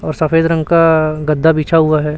और सफेद रंग का गद्दा बिछा हुआ है।